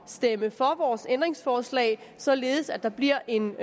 stemme for vores ændringsforslag således at der bliver en